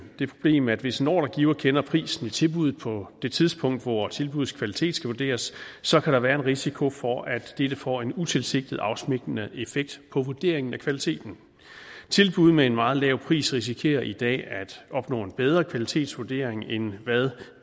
det problem at hvis en ordregiver kender prisen i tilbuddet på det tidspunkt hvor tilbuddets kvalitet skal vurderes så kan der være en risiko for at dette får en utilsigtet afsmittende effekt på vurderingen af kvaliteten tilbud med en meget lav pris risikerer i dag at opnå en bedre kvalitetsvurdering end hvad